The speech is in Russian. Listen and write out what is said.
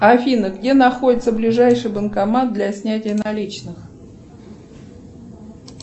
афина где находится ближайший банкомат для снятия наличных